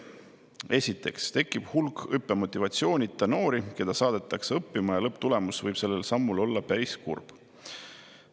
Esiteks tekib hulk õppimismotivatsioonita noori, keda saadetakse õppima, ja lõpptulemus võib sellel sammul olla päris kurb.